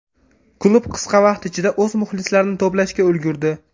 Klub qisqa vaqt ichida o‘z muxlislarini to‘plashga ulgurdi.